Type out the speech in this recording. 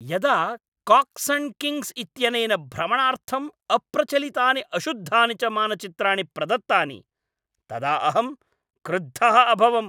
यदा Cox and Kings इत्यनेन भ्रमणार्थं अप्रचलितानि अशुद्धानि च मानचित्राणि प्रदत्तानि तदा अहं क्रुद्धः अभवम्।